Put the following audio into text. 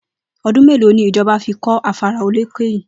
O̩dún mélòó ni ìjo̩ba̩ fi kó̩ afárá olókè yìí?